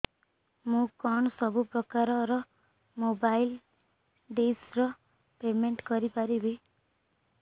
ମୁ କଣ ସବୁ ପ୍ରକାର ର ମୋବାଇଲ୍ ଡିସ୍ ର ପେମେଣ୍ଟ କରି ପାରିବି